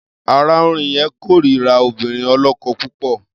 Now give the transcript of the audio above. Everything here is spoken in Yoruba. Aráùnrin yẹn kórira obìnrin ọlọ́kọ púpọ̀.